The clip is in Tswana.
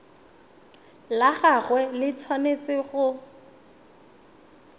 la gagwe le tshwanetse go